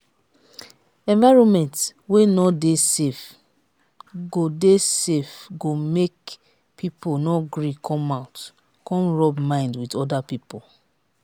environment wey no de safe go de safe go make pipo no gree come out come rub mind with oda pipo